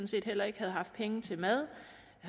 set heller ikke havde haft penge til mad